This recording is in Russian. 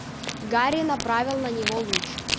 гарри направил на него луч